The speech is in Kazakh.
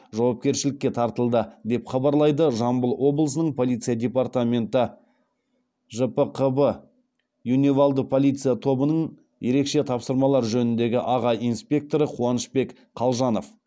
жауапкершілікке тартылды деп хабарлайды жамбыл облысының полиция департаменті жпқб юневалды полиция тобының ерекше тапсырмалар жөніндегі аға инспекторы қуанышбек қалжанов